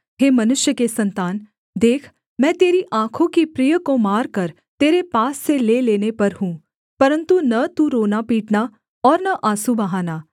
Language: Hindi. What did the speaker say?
हे मनुष्य के सन्तान देख मैं तेरी आँखों की प्रिय को मारकर तेरे पास से ले लेने पर हूँ परन्तु न तू रोनापीटना और न आँसू बहाना